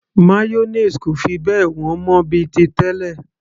mayonnaise kò fi bẹ́ẹ̀ wọ́n mọ́ bíi ti tẹlẹ